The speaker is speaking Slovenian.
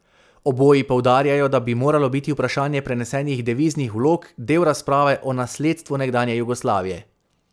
Oboji poudarjajo, da bi moralo biti vprašanje prenesenih deviznih vlog del razprave o nasledstvu nekdanje Jugoslavije.